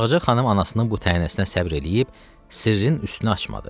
Ağca xanım anasının bu təhnəsinə səbr eləyib sirrin üstünü açmadı.